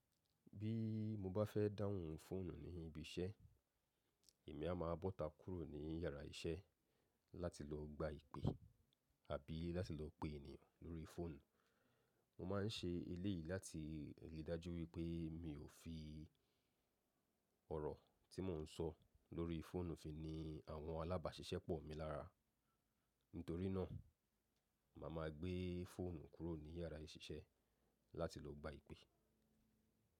Bí mo bá fẹ́ dáhùn fóònù ní ibi iṣẹ́, èmi a máa bọ́ta kúrò ní yàrá iṣẹ́ láti lọ gba ìpè àbí láti lọ pè ènìyàn lórí fóònù. Mo má a ń ṣe eléyìí láti ri dájú wípé mi ò fi ọ̀rọ̀ tí mò ń sọ lórí fóònù fi ni àwọn alábáṣiṣẹ́ pọ̀ mi lára. Nítorínà, màá ma gbé fóònù kúrò ní yàrá iṣẹ́ láti lọ gba ìpè.